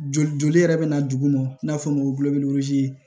Joli joli yɛrɛ bɛ na duguma n'a fɔra o ma ko